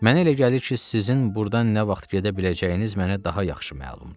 Mənə elə gəlir ki, sizin burdan nə vaxt gedə biləcəyiniz mənə daha yaxşı məlumdur.